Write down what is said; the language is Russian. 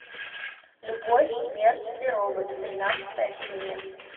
любовь смерть и роботы тринадцатая серия